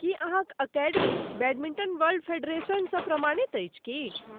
की अहाँक अकादमी badminton world फेडरेशनसँ प्रमाणित अछि की?